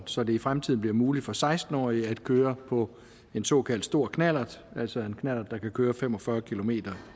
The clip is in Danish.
så det i fremtiden bliver muligt for seksten årige at køre på en såkaldt stor knallert altså en knallert der kan køre fem og fyrre kilometer